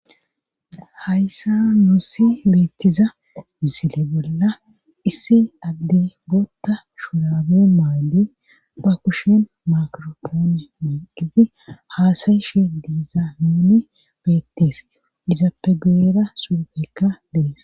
hayssa nuussi beettiza misile bolla issi addi bootta shuraabe maydi ba kushen makiropoone inqiti haasayi shi diiza mini beettes dizapegeera suufekka dees